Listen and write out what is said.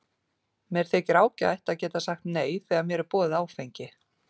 Mér þykir ágætt að geta sagt nei þegar mér er boðið áfengi.